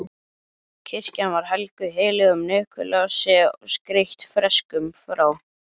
Kirkjan var helguð heilögum Nikulási og skreytt freskum frá